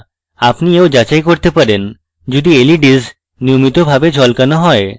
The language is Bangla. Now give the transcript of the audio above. আপনি you যাচাই করতে পারেন যদি leds নিয়মিতভাবে ঝলকানো you